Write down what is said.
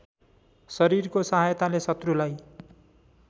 शरीरको सहायताले शत्रुलाई